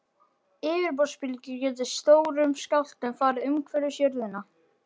Yfirborðsbylgjur geta í stórum skjálftum farið umhverfis jörðina.